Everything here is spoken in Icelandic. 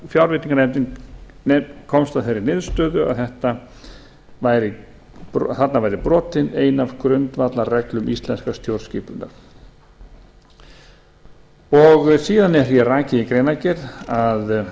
fjárveitinganefnd komst að þeirri niðurstöðu þarna væri brotin ein af grundvallarreglum íslenskrar stjórnskipunar ég klárar ekki hér síðan er rakið í greinargerð að